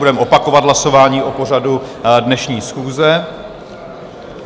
Budeme opakovat hlasování o pořadu dnešní schůze.